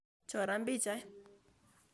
Choran pichaiyat.